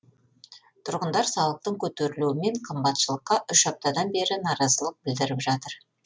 тұрғындар салықтың көтерілуі мен қымбатшылыққа үш аптадан бері наразылық білдіріп жатыр